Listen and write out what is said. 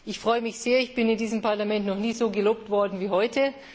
Ich freue mich sehr, denn ich bin in diesem Parlament noch nie so gelobt worden wie heute.